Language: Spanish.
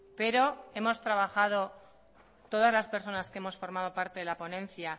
pero hemos trabajado todas las personas que hemos formado parte de la ponencia